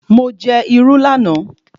Mo jẹ irú lánàá